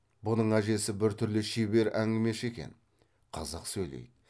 бұның әжесі бір түрлі шебер әңгімеші екен қызық сөйлейді